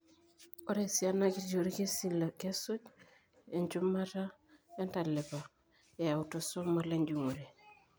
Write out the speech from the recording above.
Ore esiana jiti oorkesii kesuj enchumata entalipa eautosomal enjung'ore.